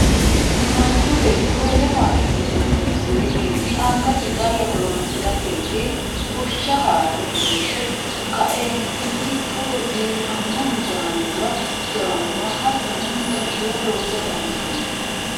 manchu beeti wole mashinnuba horonisirikinni angasi cala horoonsiratenni bushsha haare liise ka'eenitinni togo biifanno midaanuwa, jawanuwa hatonno mixashuwa loosa dandaano.